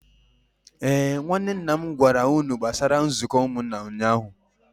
Ee, nwanne nna m gwara unu gbasara nzuko umunna ụnyahụ